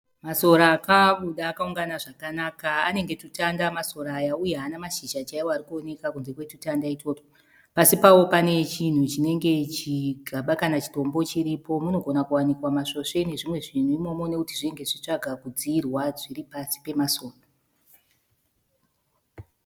Masora akabuda akaungana zvakanaka. Anenge twutanda masora aya uye haana mashizha chaiwo ari kuoneka kunze kwetwutanda itwotwo. Pasi pawo pane chinhu chinenge chigaba kana chinenge chidombo chiripo. Munogoma kuwanikawa masvosve nezvimwe zvinhu imomo nokuti zvinenge zvichitsvaga kudziyirwa zviri pasi pemasora.